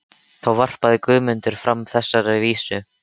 Þá varpaði Guðmundur fram þessari vísu: